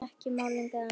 Ekki málning eða neitt.